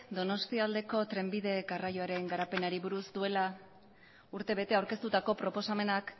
donostialdeko trenbide garraioaren garapenari buruz duela urtebete aurkeztutako proposamenak